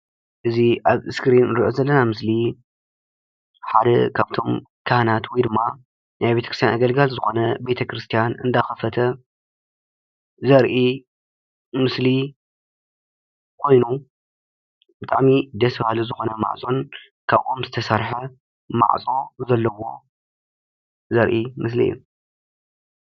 እዚ አብ እስኪሪን ዝንሪኦ ዘለና ምስሊሓደ ካብ ቶም ካሀናት ወይ ናይ ቤተ ክርስትያን አገልገሊዝኮነ ናይ ቤተ ክርስትያን እናከፈተ ዘርኢ ምስሊ ኮይኑ ብጣዕሚ ደስ በሃሊ ዝኮነ ማዕፆ ካብ ኦም ዝተሰርሐ ማዕፆ ዘለዎ ዘርኢ ምስሊእዩ፡፡